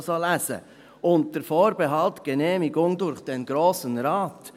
«Unter Vorbehalt der Genehmigung durch den Grossen Rat.